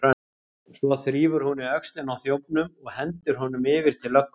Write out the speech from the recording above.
Svo þrífur hún í öxlina á þjófnum og hendir honum yfir til löggunnar.